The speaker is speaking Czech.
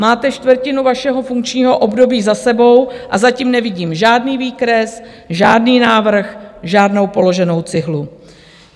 Máte čtvrtinu vašeho funkčního období za sebou a zatím nevidím žádný výkres, žádný návrh, žádnou položenou cihlu.